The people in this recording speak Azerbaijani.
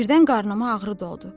Birdən qarnıma ağrı doldu.